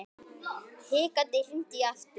Hikandi hringdi ég aftur.